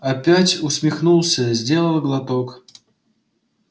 опять усмехнулся сделал глоток